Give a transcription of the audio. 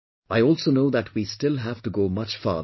I also know that we still have to go much farther